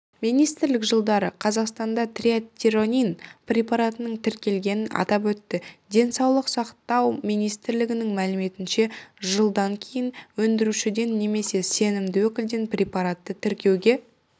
министрлік жылдары қазақстанда трийодтиронин препаратының тіркелгенін атап өтті денсаулық сақтау министрлігінің мәліметінше жылдан кейін өндірушіден немесе сенімді өкілден препаратты тіркеуге